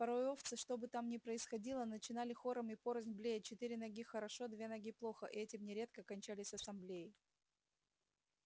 порой овцы что бы там ни происходило начинали хором и порознь блеять четыре ноги хорошо две ноги плохо и этим нередко кончались ассамблеи